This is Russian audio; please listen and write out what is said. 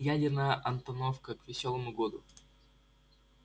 ядерная антоновка к весёлому году